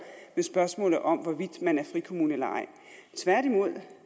med spørgsmålet om hvorvidt man er frikommune eller ej tværtimod